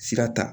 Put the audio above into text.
Sira ta